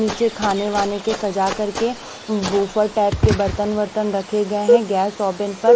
नीचे खाने वाने के सजा करके बूफर टाइप के बर्तन वर्तन रखे गए हैं गैस ओपन पर--